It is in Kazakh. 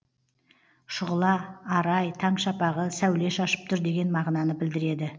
шұғыла арай таң шапағы сәуле шашып тұр деген мағынаны білдіреді